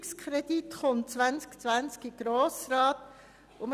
Der Ausführungskredit wird 2020 dem Grossen Rat vorgelegt.